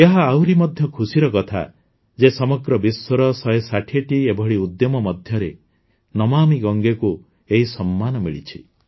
ଏହା ଆହୁରି ମଧ୍ୟ ଖୁସିର କଥା ଯେ ସମଗ୍ର ବିଶ୍ୱର ୧୬୦ଟି ଏଭଳି ଉଦ୍ୟମ ମଧ୍ୟରେ ନମାମି ଗଙ୍ଗେକୁ ଏହି ସମ୍ମାନ ମିଳିଛି